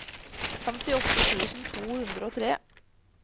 femtiåtte tusen to hundre og tre